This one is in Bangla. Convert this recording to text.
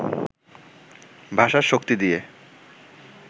ভাষার শক্তি দিয়ে